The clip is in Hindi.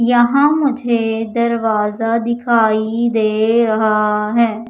यहां मुझे दरवाजा दिखाई दे रहा है।